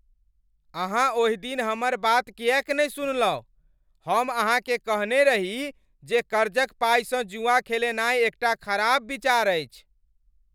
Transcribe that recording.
अहाँ ओहि दिन हमर बात किएक नहि सुनलहुँ? हम अहाँकेँ कहने रही जे कर्जक पाइसँ जुआ खेलेनाइ एकटा खराब विचार अछि।